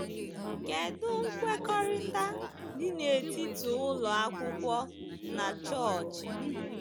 Kedụ nkwekọrịta dị n’etiti ụlọ akwụkwọ na Chọọchị? ’